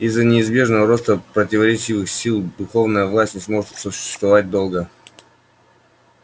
из-за неизбежного роста противоречивых сил духовная власть не сможет существовать долго